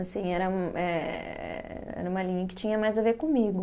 Assim, era um eh, era uma linha que tinha mais a ver comigo.